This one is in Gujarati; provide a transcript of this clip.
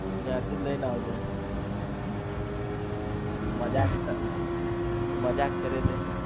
ના તું જ લઈને આવજે મજાકમજાક કરે છે